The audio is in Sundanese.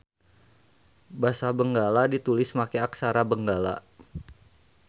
Basa Benggala ditulis make Aksara Benggala.